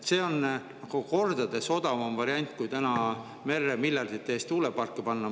See oleks kordades odavam variant kui merre miljardite eest tuuleparke panna.